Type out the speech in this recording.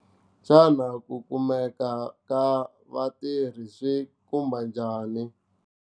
Xana ku kumeka ka vatirhi swi khumba njhani ?